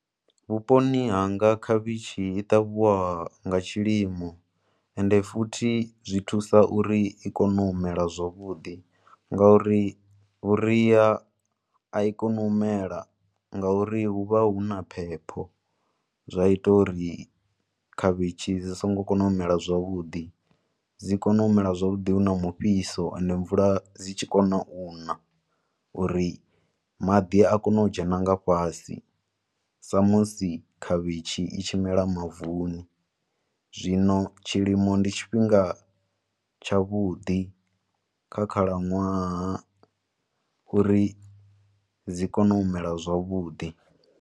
Vhuponi hanga khavhishi i ṱavhiwa nga tshilimo, ende futhi zwi thusa uri i kone u mela zwavhuḓi, ngauri vhuria a i koni u mela ngauri hu vha hu na phepho. Zwa ita uri khavhishi dzi songo kona u mela zwavhuḓi, dzi kone u mela zwavhuḓi hu na mufhiso ende mvula dzi tshi kona u nna u ri maḓi a kone u dzhena nga fhasi, sa musi khavhishi i tshi mela mavuni, zwino tshilimo ndi tshifhinga tshaavhuḓi, kha khalaṅwaha uri dzi kone u mela zwavhuḓi.